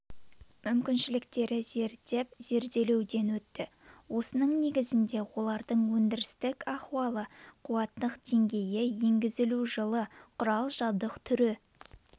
мүмкіншіліктері зерттеп зерделеуден өтті осының негізінде олардың өндірістік ахуалы қуаттылық деңгейі енгізілу жылы құрал-жабдық түрі